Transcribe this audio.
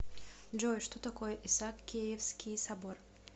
джой что такое исаакиевский собор